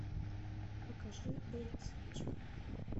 покажи эй цыпочка